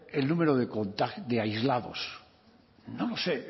el número de aislados no lo sé